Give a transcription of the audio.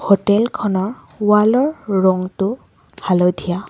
Hotel খনৰ wall ৰ ৰংটো হালধীয়া।